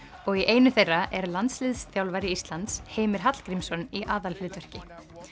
og í einu þeirra er landsliðsþjálfari Íslands Heimir Hallgrímsson í aðalhlutverki